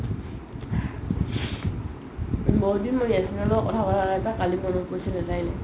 বহুত দিন মই লগত কথা পাতা নাই তাক কালি মনত পৰিছিল